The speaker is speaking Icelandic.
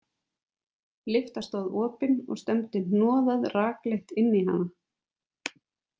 Lyfta stóð opin og stefndi hnoðað rakleitt inn í hana.